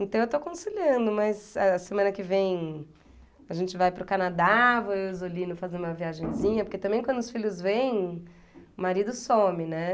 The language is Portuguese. Então eu estou conciliando, mas a semana que vem a gente vai para o Canadá, vou eu e o Zolino fazer uma viagenzinha, porque também quando os filhos vêm, o marido some, né?